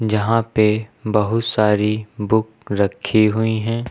जहां पे बहुत सारी बुक रखी हुई हैं।